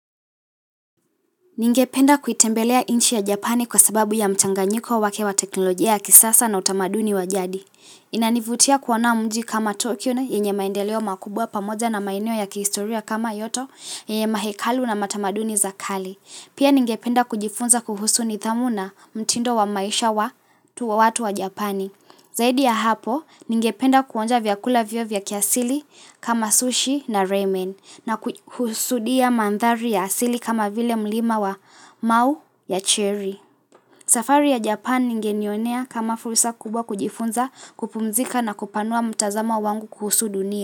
Ningependa kuitembelea inchi ya Japani kwa sababu ya mchanganyiko wake wa teknolojia ya kisasa na utamaduni wa jadi. Inanivutia kuona mji kama Tokyo na yenye maendeleo makubwa pamoja na maeneo ya kihistoria kama kyoto, yenye mahekalu na matamaduni za kale. Pia ningependa kujifunza kuhusu nidhamu na mtindo wa maisha wa tu wa watu wa Japani. Zaidi ya hapo, ningependa kuonja vyakula vyoo vya kiasili kama sushi na ramen na kuhusudia mandhari ya asili kama vile mlima wa mau ya cherry. Safari ya Japan ningenionea kama fursa kubwa kujifunza kupumzika na kupanua mtazama wangu kuhusu dunia.